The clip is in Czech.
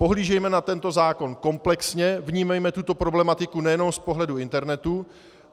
Pohlížejme na tento zákon komplexně, vnímejme tuto problematiku nejenom z pohledu internetu.